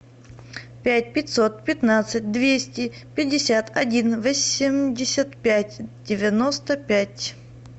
пять пятьсот пятнадцать двести пятьдесят один восемьдесят пять девяносто пять